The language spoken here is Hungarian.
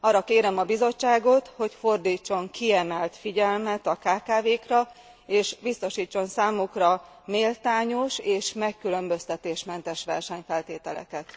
Arra kérem a Bizottságot, hogy fordítson kiemelt figyelmet a kkv kra, és biztosítson számukra méltányos és megkülönböztetésmentes versenyfeltételeket.